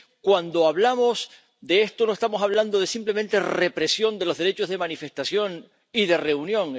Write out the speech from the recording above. Cuando hablamos de esto no estamos hablando de simplemente represión de los derechos de manifestación y de reunión.